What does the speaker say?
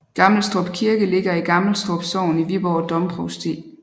Gammelstrup Kirke ligger i Gammelstrup Sogn i Viborg Domprovsti